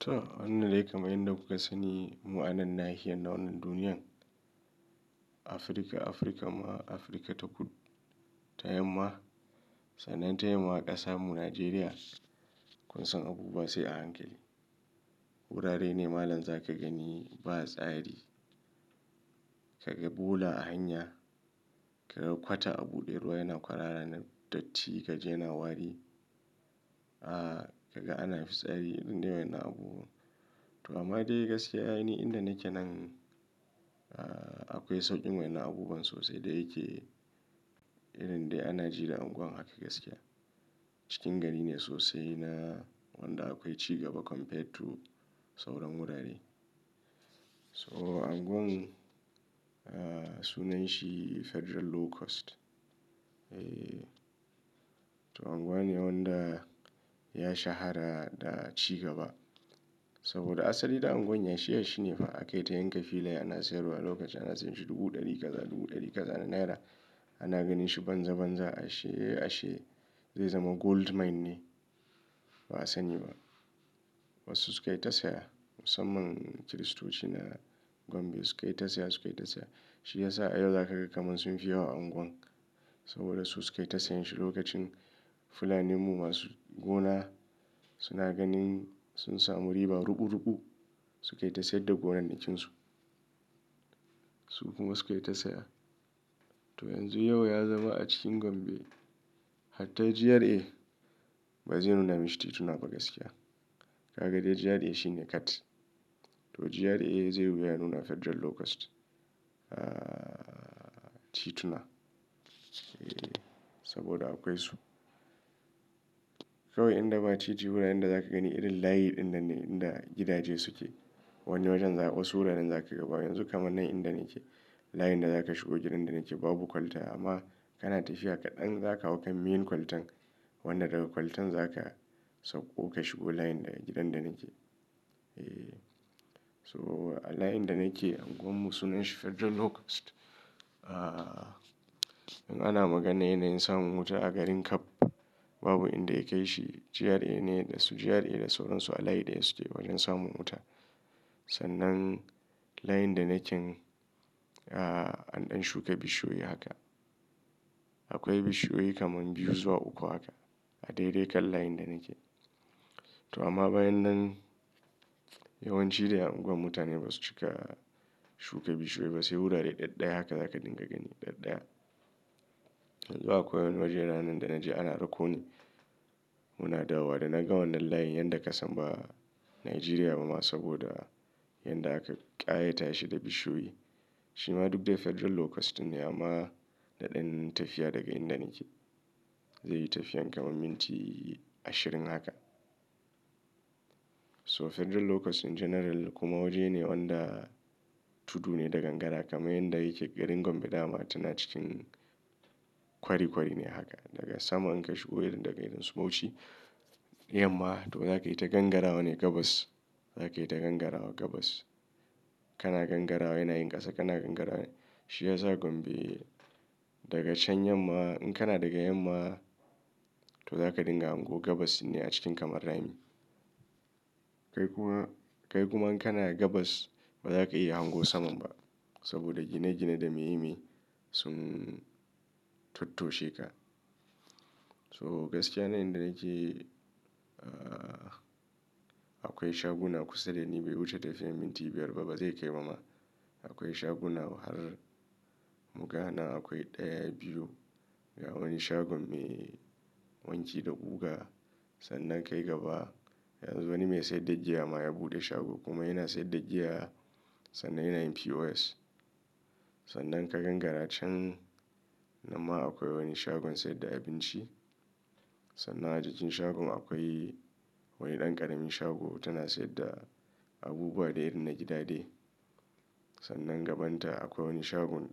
To, wannan dai kamar yadda kuka sani, mu anan nahiya na wannan duniyan. Afirka, Afirka ma, Afirka ta kud-- tayamma. Sannan tayamma ƙasa mu Najeriya. Kun san abubuwa sai a hankali. Wurare ne malamza ka gani ba tsari. Kaga bula a hanya, ka ga kwata abuɗe ruwa yana kwarara na datti, ka ji yana wari. Aaa, kaga ana fitsari, indai wannan abubuwa. To amma dai gaskiya ne inda nake nan, aaa, akwai sauƙin wani abubuwan sosai da yake, irin dai a Najeriya anguwan haka gaskiya. Cikin gari ne sosai na wanda akwai cigaba compared to sauran wurare. So anguwan, aaa, sunan shi Federal Low Cost. Eee, to anguwane wanda ya shahara da cigaba. Saboda asali da anguwan ya shi ya shi ne fa aka yi ta yanka filaye ana sayarwa lokacin ana sayanshi dubu ɗari kaza, dubu ɗari kaza na naira. Ana ganin shi banza banza ashe, ashe zai zama goldmine ne, ba a sani ba. Wasu sukayi ta saya, musamman Kiristoci na Gombe sukayi ta saya, sukayi ta saya. Shi ya sa a yau za ka ga kamun sunfi yawa a angon. Saboda su sukayi ta sayen shi lokacin. Fulanin mu masu gona suna ganin sun samu riba ruku-ruku, sukayi ta sayar da gonanakinsu. Su kuma sukayi ta saya. To yanzu yau ya zama a cikin Gombe hatta GRA ba zai nuna mishi tituna ba gaskiya. Ka ga dai GRA shi ne cat. To GRA zai wuya nuna Federal Low Cost, aa, tituna. Eee, saboda akwai su. Kawai in da ba titi wuraren da za ka gani irin layin dinnan ne inda gidaje suke. Wani wajen za-- wasu wuraren za ka ga ba. Yanzu kamar nan inda nake, layin da za ka shigo gidan da nake babu kwalta amma kana tafiya kaɗan za ka hau kan main kwaltan. Wannan daga kwaltan za ka sauko ka shigo layin da gidan da nake. Eee. So a layin da nake anguwan mu sunan shi Federal Low Cost. Aaa, in ana magana yana yin samun wuta a garin Kab, babu inda yakai shi. GRA ne da su GRA da sauransu a layi ɗaya suke wajen samun wuta. Sannan layin da nake, an ɗan shuka bishiyoyi haka. Akwai bishiyoyi kaman biyu zuwa uku haka a daidai kan layin da nake. To amma bayan nan yawancin dai a unguwar mutane basu cika shuka bishiyoyi ba, sai wurare ɗaɗɗaya haka za ka dinga gani ɗaɗɗaya. Though akwai wani waje nanan da na je ana rakoni. Muna dawowa da na ga wannan layin yadda ka san ba a Najeriya ba ma saboda yadda aka ƙayata shi da bishiyoyi. Shi ma duk dai Federal Low Cost ɗin ne amma na ɗan tafiya daga inda nake. Zai yi tafiyan kamar minti ashirin haka. So Federal Low Cost in general kuma waje ne wanda tudu ne da gangara kamar yadda yake garin Gombe da ma tana cikin kwari kwari ne haka. Daga sama in ka shigo irin daga irin su bauchi, yamma to za ka yi ta gangarawa ne gabas. Za ka yi ta gangarawa gabas. Kana gangarawa yana yin ƙasa, kana gangarawa. Shi ya sa Gombe daga can yamma in kana daga yamma to za ka dinga hango gabas ne a cikin kamar rami. Kai kuma, kai kuma in kana gabas ba za ka iya hango saman ba saboda gine-gine da meyi meyi sun tottoshe ka. So gaskiya nan inda nake, aaa, akwai shaguna kusan dai ni bai wuce tafiyan minti biyar ba bazai kai ba ma. Akwai shaguna har mu gana akwai ɗaya, biyu. Ga wani shagon me wanki da guga. Sannan kai gaba yanzu wani mai saida giya ma ya buɗe shago kuma yana saida giya sannan yana yin POS. Sannan ka gangara can nan ma akwai wani shagon saida abinci. Sannan a jikin shagon akwai wani ɗan ƙaramin shago tana saida abubuwa dai irin na gida dai. Sannan gabanta akwai wani shagon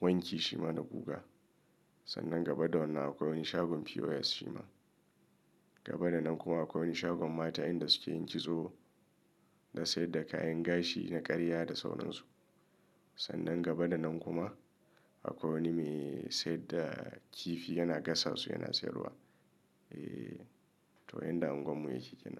wanki shima da guga. Sannan gaba da wannan akwai wani shagon POS shima. Gaba da nan kuma akwai wani shagon mata inda suke yin kitso da saida kayan gashi na ƙarya da sauransu. Sannan gaba da nan kuma akwai wani mai saida kifi yana gasa su yana sayarwa. Eee, to yanda unguwan mu yake yake kenan.